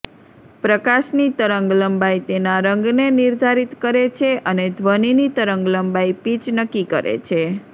પ્રકાશની તરંગલંબાઇ તેના રંગને નિર્ધારિત કરે છે અને ધ્વનિની તરંગલંબાઇ પિચ નક્કી કરે છે